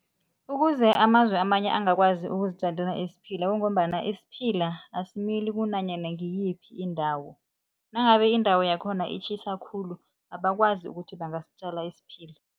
Ukuze amazwe amanye angakwazi ukuzitjalela isiphila kungombana isiphila asimili kunanyana ngiyiphi indawo. Nangabe indawo yakhona itjhisa khulu abakwazi ukuthi bangasitjala isiphila.